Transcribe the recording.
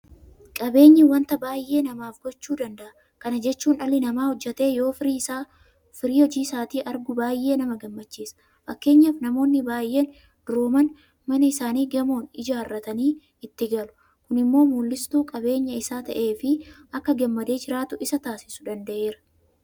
Qabeenyi waanta baay'ee namaaf gochuu danda'a. Kana jechuun dhalli namaa hojjetee yeroo firii hojii isaatii argu baay'ee nama gammachiisa. Fakkeenyaaf namoonni baay'ee durooman mana isaanii gamoo ijaarratanii itti galu. Kun immoo mul'istuu qabeenyq isaa ta'eefi akka gammadee jiraatu isa taasisuu danda'eera.